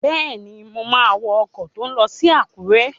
Bẹ́ẹ̀ni, mo máa wọ ọkọ̀ tó n lọ sí Àkúrẹ́